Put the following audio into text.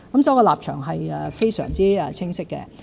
我的立場是非常清晰的。